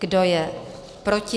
Kdo je proti?